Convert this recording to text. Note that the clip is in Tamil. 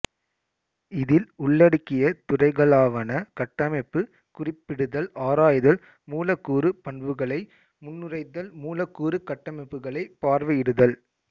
இதில் உள்ளடக்கிய துறைகளாவன கட்டமைப்பு குறிப்பிடுதல் ஆராய்தல் மூலக்கூறு பண்புகளை முன்னுரைதல் மூலக்கூறு கட்டமைப்புகளை பார்வையிடுதல்